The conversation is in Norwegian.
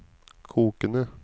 kokende